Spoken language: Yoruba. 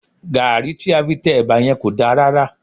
Gàrí tí a fi tẹ ẹba yẹn kò dá rárá